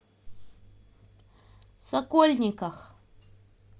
сокольниках